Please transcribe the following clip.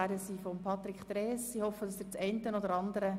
Der Regierungsrat ist bereit, diesen Vorstoss als Postulat anzunehmen.